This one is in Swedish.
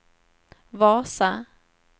Vasa